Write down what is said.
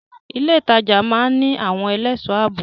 Ilé ìtajà máa ń ní àwọn ẹlẹ́ṣọ̀ ààbò.